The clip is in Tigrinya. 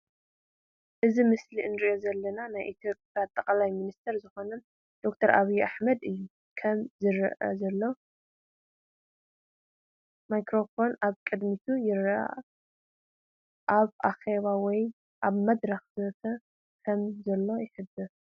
እቲ ምስሊ እንርእዮ ዘለና ናይ ኢትዮጵያ ጠቅላይ ሚንስተር ዝኮኑ ደ/ር ኣብይ እሕመድ እዩም። ከም ዝረአ ዘሎ ማይክሮፎንን ኣብ ቅድሚቱ ይረአ። ኣብ ኣኼባ ወይ ኣብ መድረኽ ዘተ ከም ዘሎ ይሕብር።